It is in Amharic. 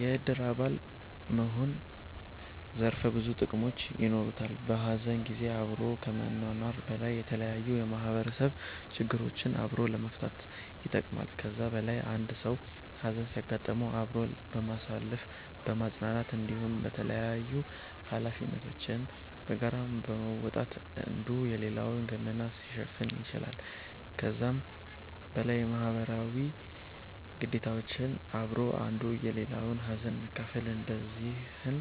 የእድር አባል መሆን ዘርፈ ብዙ ጥቅሞች የኖሩታል። በሀዘን ጊዜ አብሮ ከመኗኗር በላይ የተለያዩ የማህበረሰብ ችግሮችን አብሮ ለመፈታትም ይጠቅማል። ከዛ በላይ አንድ ሰዉ ሀዘን ሲያጋጥመዉ አብሮ በማሳለፍ በማፅናናት እንዲሁም የተላያዩ ሀላፊነቶችን በጋራ በመወጣት አንዱ የሌላዉን ገመና ሊሸፍን ይችላል። ከዛም በላይ ማህበረሰባዊ ግዴታዎች አብሮ አንዱ የሌላዉን ሀዘን መካፍል እነዚህን